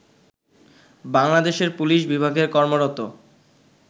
বাংলাদেশের পুলিশ বিভাগে কর্মরত